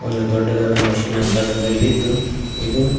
ಒಂದು ದೊಡ್ಡದಾದ ಮೆಷಿನ್ ಆಕಾರದಲ್ಲಿದ್ದು ಇದು--